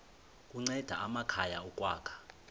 kunceda amakhaya ukwakha